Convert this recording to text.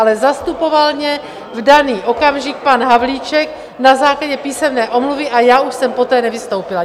Ale zastupoval mě v daný okamžik pan Havlíček na základě písemné omluvy a já už jsem poté nevystoupila.